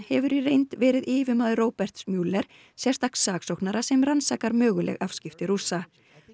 hefur í reynd verið yfirmaður Roberts sérstaks saksóknara sem rannsakar möguleg afskipti Rússa